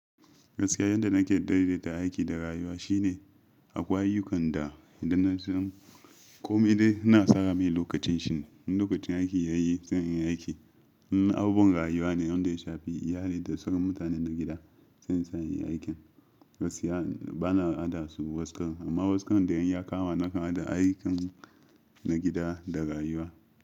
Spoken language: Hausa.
Gaskiya yadda nake daidaita aiki da rayuwa shine akwai ayyukan da idan na zan komai dai na tsara mai lokacin shi. In lokacin aiki ya yi, zan yi aiki. In abun rayuwa ne, inda ya shafi iyali da sauran mutanen na gida, zan saya yin aikin. Gaskiya bana hada su waskar, amma waskan da yayi ya kama nakan hada aikin na gida da rayuwa.